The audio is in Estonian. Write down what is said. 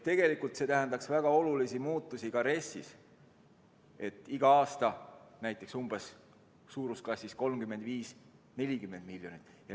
Tegelikult tähendaks see väga olulisi muudatusi ka RES-is, iga aasta näiteks 35–40 miljonit.